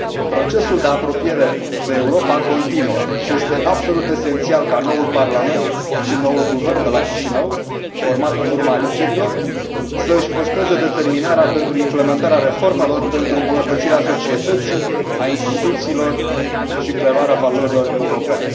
Procesul de apropiere de Europa continuă și este absolut esențial ca noul parlament și noul guvern de la Chișinău, format în urma alegerilor, să își păstreze determinarea pentru implementarea reformelor, pentru îmbunătățirea societății, a instituțiilor și preluarea valorilor europene.